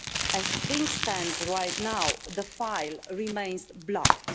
As things stand right now, the file remains blocked.